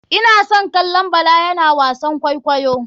Ina son kallon bala yana wasan kwaikwayo.